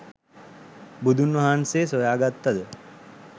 බුදුන් වහන්සේ සොයාගත්තද